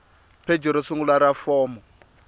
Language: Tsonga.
pheji ro sungula ra fomo